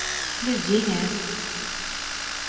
Flyinge